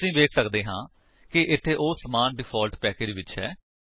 ਅਸੀ ਵੇਖ ਸੱਕਦੇ ਹਾਂ ਕਿ ਇੱਥੇ ਉਹ ਸਮਾਨ ਡਿਫਾਲਟ ਪੈਕੇਜ ਵਿੱਚ ਹੈ